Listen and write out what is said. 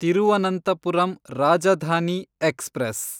Thiruvananthapuram Rajdhani express